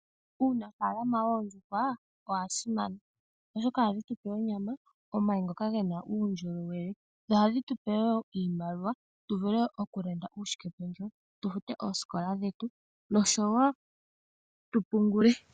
Uunafaalama woondjuhwa owa simana, oshoka ohadhitupe onyama, omayi ngoka gena uundjolowele, dho ohadhitupe wo iimaliwa, tuvule okulanda uushikependjewo wetu, tu fute oosikola dhetu, noshowo tu pungule.